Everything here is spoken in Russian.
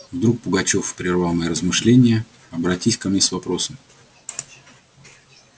вдруг пугачёв прервал мои размышления обратись ко мне с вопросом